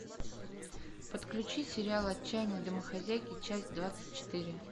подключи сериал отчаянные домохозяйки часть двадцать четыре